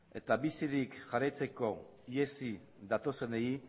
eta bizirik jarraitzeko ihesi datozenei